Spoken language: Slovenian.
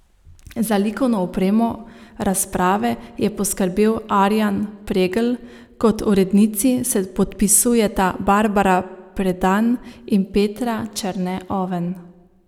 Za likovno opremo razprave je poskrbel Arjan Pregl, kot urednici se podpisujeta Barbara Predan in Petra Černe Oven.